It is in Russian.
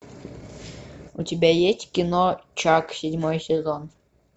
у тебя есть кино чак седьмой сезон